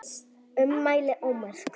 Ummæli ómerkt